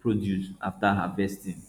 produce after harvesting